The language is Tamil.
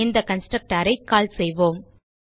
இந்த கன்ஸ்ட்ரக்டர் ஐ கால் செய்வோம்